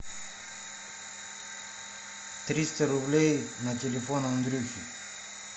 триста рублей на телефон андрюхе